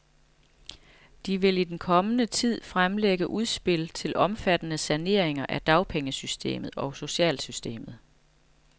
De vil i den kommende tid fremlægge udspil til omfattende saneringer af dagpengesystemet og socialsystemet.